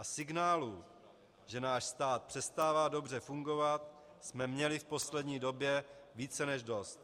A signálů, že náš stát přestává dobře fungovat, jsme měli v poslední době více než dost.